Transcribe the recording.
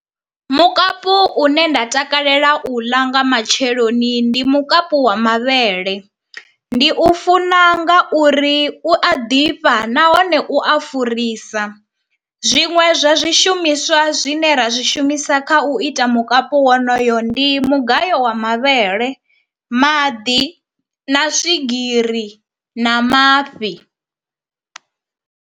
Mukapu une nda takalela u ḽa nga matsheloni ndi mukapu wa mavhele, ndi u funa nga uri u a ḓifha nahone u a furisa. Zwiṅwe zwa zwishumiswa zwine ra zwi shumisa kha u ita mukapu wonoyo ndi mugayo wa mavhele, maḓi na swigiri na mafhi.